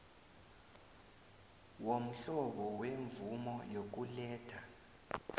womhlobo wemvumo yokuletha